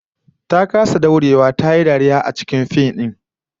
Ta kasa daurewa, dariya ya kwace mata a cikin fim din